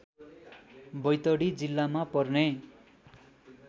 बैतडी जिल्लामा पर्ने